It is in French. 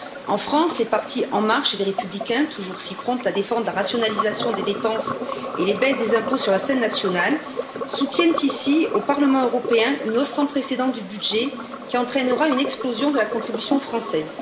En France, les partis En marche et les Républicains, toujours si prompts à défendre la rationalisation des dépenses et les baisses des impôts sur la scène nationale, soutiennent ici, au Parlement européen, une hausse sans précédent du budget qui entraînera une explosion de la contribution française.